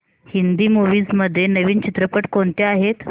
Hindi movies मध्ये नवीन चित्रपट कोणते आहेत